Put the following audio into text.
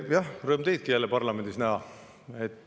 Jah, rõõm teidki jälle parlamendis näha.